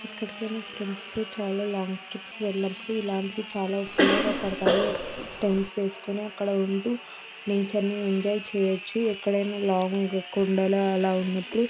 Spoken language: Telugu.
ఎక్కడికయినా ఫ్రెండ్స్ తో లాంగ్ ట్రిప్స్ వెళ్ళినప్పుడు ఇల్లాంటివి చాల ఉప్పయోగ పడతాయి టెంట్స్ వేసికొని అక్కడ నేచర్ ని ఎంజాయ్ చేయుచు ఎక్కడైనా ఒక లాంగ్ కొండల ఉన్నపుడు --